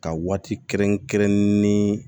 Ka waati kɛrɛnkɛrɛnnen